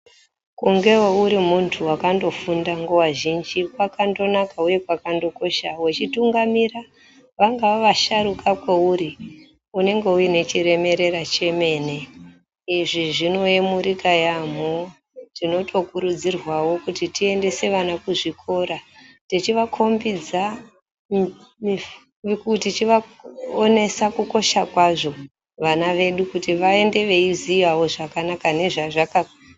Kungewo urimuntu akandofunda nguva zhinji kwakandonaka huye kwakandokosha. Wechitungamira vangava vasharuka kweuri, unenge uinechiremerera chemene. Izvi zvinoyemurika yaamho. Tinotokurudzirwawo kuti tiendese vana kuzvikora, tichivakombidza, tichivaonesa kukosha kwazvo vana vedu kuti vange veiziyawo zvakanaka nezvazvaka....